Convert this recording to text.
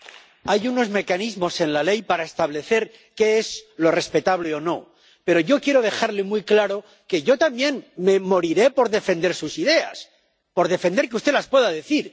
Hay unos mecanismos en la ley para establecer qué es respetable o no, pero yo quiero dejarle muy claro que yo también me moriré por defender sus ideas, por defender que usted las pueda decir.